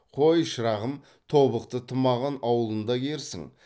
қой шырағым тобықты тымағын аулыңда киерсің